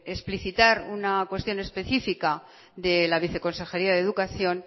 explicitar una cuestión específica de la viceconsejería de educación